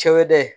Cɛw dɛ